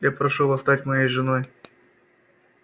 я прошу вас стать моей женой